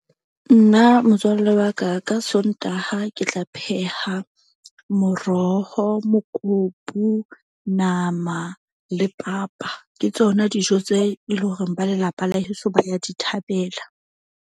Nna motswalle wa ka ka Sontaha, ke tla pheha moroho, mokopu, nama le papa ke tsona dijo tse e leng hore ba lelapa la heso ba ya di thabela.